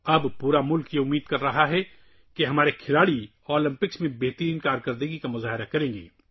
اب پورا ملک امید کر رہا ہے کہ ہمارے کھلاڑی اولمپکس میں بھی اچھی کارکردگی کا مظاہرہ کریں گے